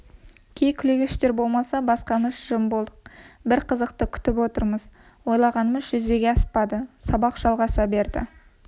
кей күлегештер болмаса басқамыз жым болдық бір қызықты күтіп отырмыз ойлағанымыз жүзеге аспады сабақ жалғаса берді